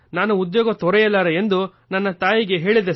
ನಾನು ಉದ್ಯೋಗ ತೊರೆಯಲಾರೆ ಎಂದು ನನ್ನ ತಾಯಿಗೆ ಹೇಳಿದೆ